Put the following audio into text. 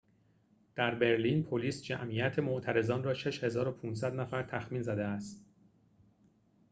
در برلین پلیس جمعیت معترضان را ۶۵۰۰ نفر تخمین زده است